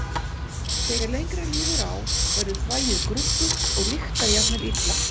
Þegar lengra líður á verður þvagið gruggugt og lyktar jafnvel illa.